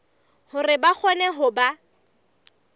hore ba kgone ho ba